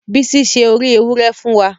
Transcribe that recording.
Bisi se ori éwurẹ fùn wa